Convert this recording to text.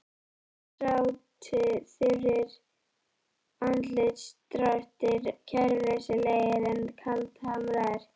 Eftir sátu þurrir andlitsdrættir, kæruleysislegir en kaldhamraðir.